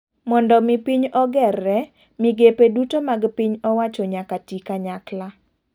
Mondo mi piny ogerre ,migepe duto mag piny owacho nyaka ti kanyakla.